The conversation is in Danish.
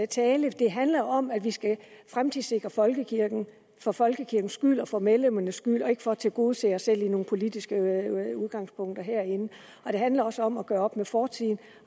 tale det handler om at vi skal fremtidssikre folkekirken for folkekirkens skyld og for medlemmernes skyld og ikke for at tilgodese os selv i nogle politiske udgangspunkter herinde det handler også om at gøre op med fortiden